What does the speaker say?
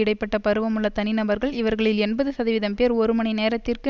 இடை பட்ட பருவமுள்ள தனிநபர்கள் இவர்களில் எண்பது சதவீதம் பேர் ஒரு மணி நேரத்திற்கு